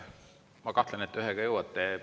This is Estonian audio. Ma kahtlen, et te ühega jõuate.